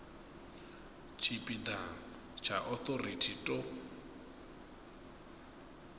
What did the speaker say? tshipi ḓa tsha authority to